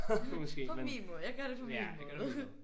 På min måde. Jeg gør det på min måde